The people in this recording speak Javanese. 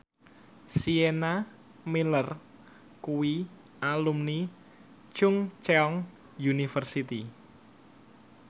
Sienna Miller kuwi alumni Chungceong University